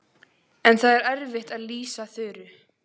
En það er erfitt að lýsa Þuru.